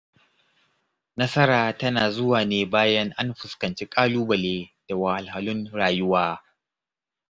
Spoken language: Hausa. Nasara tana zuwa ne bayan an fuskanci ƙalubale da wahalhalun rayuwa.